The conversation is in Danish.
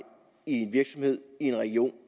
en virksomhed i en region